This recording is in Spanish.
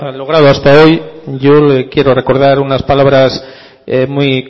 logrado hasta hoy yo le quiero recordar unas palabras muy